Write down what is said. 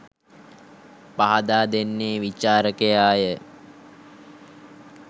පහදා දෙන්නේ විචාරකයාය.